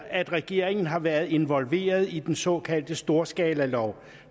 at regeringen har været involveret i den såkaldte storskalalov